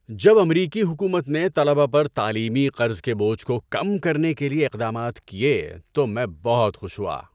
جب امریکی حکومت نے طلبہ پر تعلیمی قرض کے بوجھ کو کم کرنے کے لیے اقدامات کیے تو میں بہت خوش ہوا۔